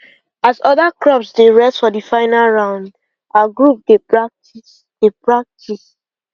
as other grops dey rest for the final round our group dey practice dey practice